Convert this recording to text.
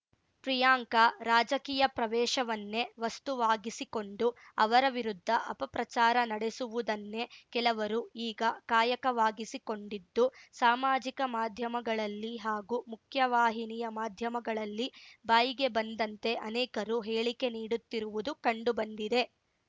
ಪ್ರಿಯಾಂಕಾ ರಾಜಕೀಯ ಪ್ರವೇಶವನ್ನೇ ವಸ್ತುವಾಗಿಸಿಕೊಂಡು ಅವರ ವಿರುದ್ಧ ಅಪಪ್ರಚಾರ ನಡೆಸುವುದನ್ನೇ ಕೆಲವರು ಈಗ ಕಾಯಕವಾಗಿಸಿಕೊಂಡಿದ್ದು ಸಾಮಾಜಿಕ ಮಾಧ್ಯಮಗಳಲ್ಲಿ ಹಾಗೂ ಮುಖ್ಯವಾಹಿನಿಯ ಮಾಧ್ಯಮಗಳಲ್ಲಿ ಬಾಯಿಗೆ ಬಂದಂತೆ ಅನೇಕರು ಹೇಳಿಕೆ ನೀಡುತ್ತಿರುವುದು ಕಂಡುಬಂದಿದೆ